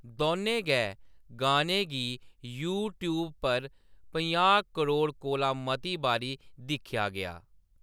दौनें गै गानें गी यूट्यूब पर पंजाह् करोड़ कोला मती बारी दिक्खेआ गेआ।